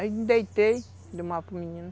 Aí eu me deitei, mamar para o menino.